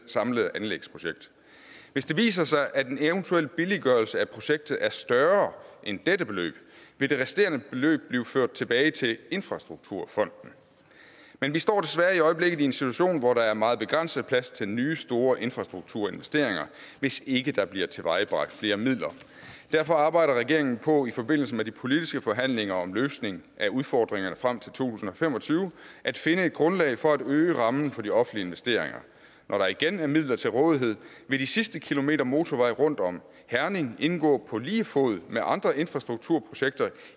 samlede anlægsprojekt hvis det viser sig at en eventuel billiggørelse af projektet er større end dette beløb vil det resterende beløb blive ført tilbage til infrastrukturfonden men vi står desværre i øjeblikket i en situation hvor der er meget begrænset plads til nye store infrastrukturinvesteringer hvis ikke der bliver tilvejebragt flere midler derfor arbejder regeringen på i forbindelse med de politiske forhandlinger om en løsning af udfordringerne frem til to tusind og fem og tyve at finde et grundlag for at øge rammen for de offentlige investeringer når der igen er midler til rådighed vil de sidste kilometer motorvej rundt om herning indgå på lige fod med andre infrastrukturprojekter